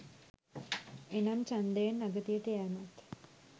එනම් ඡන්දයෙන් අගතියට යැමත්